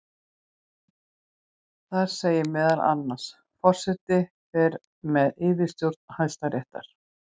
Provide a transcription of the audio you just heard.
Þar segir meðal annars: Forseti fer með yfirstjórn Hæstaréttar.